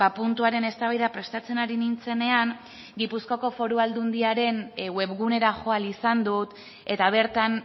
puntuaren eztabaida prestatzen ari nintzenean gipuzkoako foru aldundiaren webgunera jo ahal izan dut eta bertan